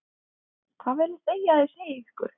Hvað viljið þið að ég segi ykkur?